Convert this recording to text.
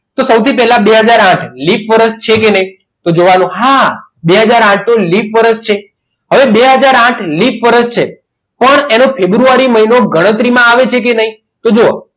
તો સૌથી પહેલા બે હાજર આઠ લિપ વર્ષ છે કે નહીં તો જોવાનું હા વર્ષ છે હવે બે હાજર આઠ લિપ વર્ષ છે પણ ફેબ્રુઆરી મહિનો એની ગણતરીમાં આવે છે કે નહીં તો જોવો.